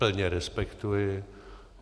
Plně respektuji.